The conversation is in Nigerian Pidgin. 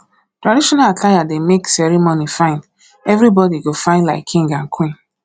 traditional attire dey make ceremony fine everybody go fyn like king and queen